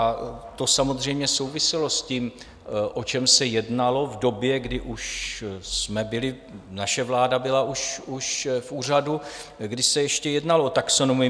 A to samozřejmě souviselo s tím, o čem se jednalo v době, kdy už jsme byli, naše vláda byla už v úřadu, kdy se ještě jednalo o taxonomii.